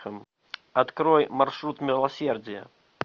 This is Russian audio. открой маршрут милосердия